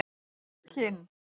Kinn